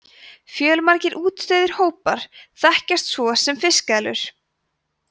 fjölmargir útdauðir hópar þekkjast svo sem fiskeðlur